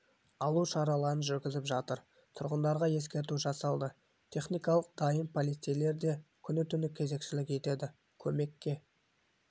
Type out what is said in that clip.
алу шараларын жүргізіп жатыр тұрғындарға ескерту жасалды техникалар дайын полицейлер де күні-түні кезекшілік етеді көмекке